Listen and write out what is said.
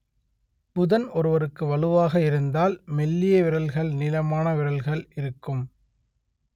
புதன் ஒருவருக்கு வலுவாக இருந்தால் மெல்லிய விரல்கள் நீளமான விரல்கள் இருக்கும்